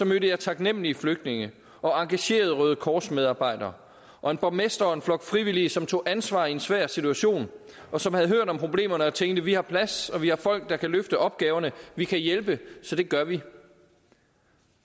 mødte jeg taknemlige flygtninge og engagerede røde kors medarbejdere og en borgmester og en flok frivillige som tog ansvar i en svær situation og som havde hørt om problemerne og tænkte vi har plads og vi har folk der kan løfte opgaverne vi kan hjælpe så det gør vi